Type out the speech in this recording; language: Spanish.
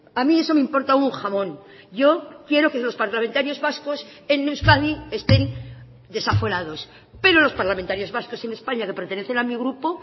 a mí eso me importa un jamón yo quiero que los parlamentarios vascos en euskadi estén desaforados pero los parlamentarios vascos en españa que pertenecen a mi grupo